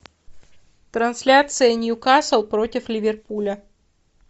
трансляция ньюкасл против ливерпуля